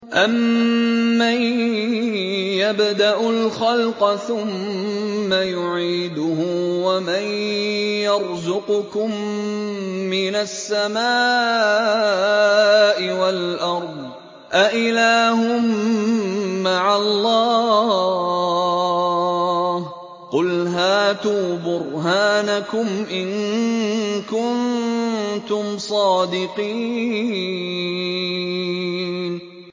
أَمَّن يَبْدَأُ الْخَلْقَ ثُمَّ يُعِيدُهُ وَمَن يَرْزُقُكُم مِّنَ السَّمَاءِ وَالْأَرْضِ ۗ أَإِلَٰهٌ مَّعَ اللَّهِ ۚ قُلْ هَاتُوا بُرْهَانَكُمْ إِن كُنتُمْ صَادِقِينَ